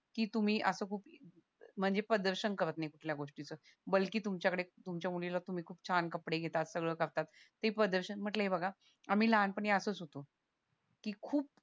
की तुम्ही असं खूप म्हणजे प्रदर्शन करत नाही कुठल्या गोष्टीच तुमच्याकडे तुमच्या मुलीला तुम्ही किती छान कपडे घेता सगळं करतात ते प्रदर्शन म्हंटल हे बघा आम्ही लहानपणी असाच होतो की खूप